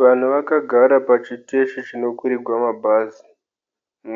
Vana vakagara pachiteshi chinokwirigwa mabhazi